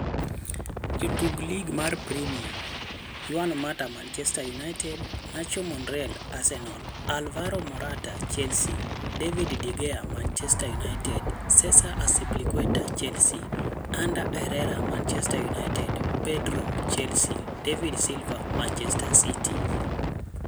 Jotuk Lig mar Premia: Juan Mata (Manchester United), Nacho Monreal (Arsenal), Alvaro Morata (Chelsea), David de Gea (Manchester United), Cesar Azpilicueta (Chelsea), Ander Herrera (Manchester United), Pedro (Chelsea), David Silva (Manchester City).